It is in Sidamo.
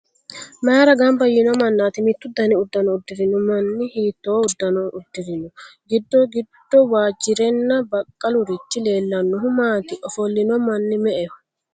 Maayra gamba yiino mannaati? Mittu dani uddano uddirino manni hiittoo uddano uddirino? Giddo giddo waajjirenna baqallurichi leellannohu maati? Ofollino manni me"eho.